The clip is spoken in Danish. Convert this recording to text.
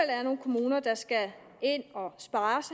er nogle kommuner der skal ind og spare